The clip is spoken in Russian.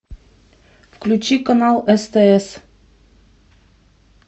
включи канал стс